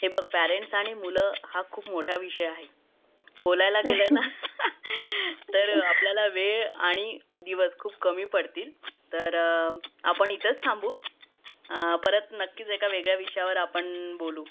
हे बघ पेरेंट्स आणि मुलं मोठा विषय आहे बोलायला गेल ना तर आपल्याला वेळ आणि दिवस खूप कामी पडतील तर आपण इथेच थांबू परत नक्कीच एका वेगळ्या विषयावर आपण बोलू